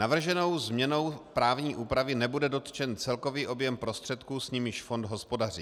Navrženou změnou právní úpravy nebude dotčen celkový objem prostředků, s nimiž fond hospodaří.